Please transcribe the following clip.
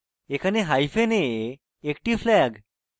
এখানে hyphen a একটি flag